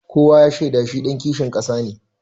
Kowa ya shaida shi ɗan kishin ƙasa ne.